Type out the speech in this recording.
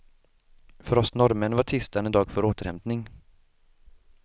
För oss norrmän var tisdagen en dag för återhämtning.